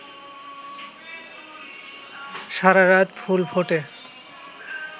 সারারাত ফুল ফুটে